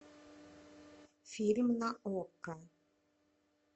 фильм на окко